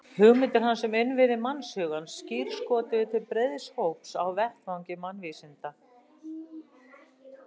Hugmyndir hans um innviði mannshugans skírskotuðu til breiðs hóps á vettvangi mannvísinda.